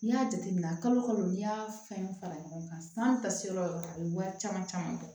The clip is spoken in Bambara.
N'i y'a jateminɛ kalo kalo n'i y'a fɛn fara ɲɔgɔn kan san ka se yɔrɔ yɔrɔ a bɛ wari caman caman bɔ